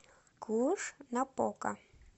клуж напока